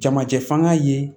Jamajɛ fanga ye